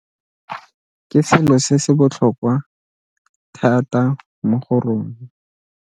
Ke selo se se botlhokwa thata mo go rona.